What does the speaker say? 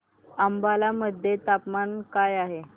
अंबाला मध्ये तापमान काय आहे